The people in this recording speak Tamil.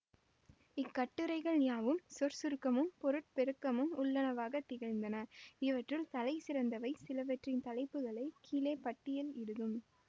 இக்கட்டுரைகள் யாவும் சொற்சுருக்கமும் பொருட்பெருக்கமும் உள்ளனவாக திகழ்ந்தன இவற்றுள் தலைசிறந்தவை சிலவற்றின் தலைப்புகளை கீழே பட்டியல் இடுதும்